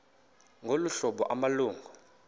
ngolu hlobo amalungu